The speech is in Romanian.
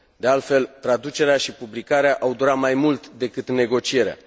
De altfel, traducerea și publicarea au durat mai mult decât negocierea.